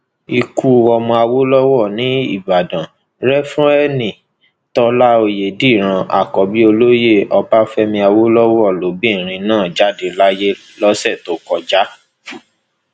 ikú ọmọ awolowo nìbàdàn refúreeni tólà ọyédèdíran àkọbí olóyè ọbáfẹmi awolowo lobìnrin náà jáde láyé lọsẹ tó kọjá